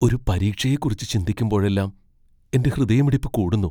ഒരു പരീക്ഷയെക്കുറിച്ച് ചിന്തിക്കുമ്പോഴെല്ലാം എന്റെ ഹൃദയമിടിപ്പ് കൂടുന്നു.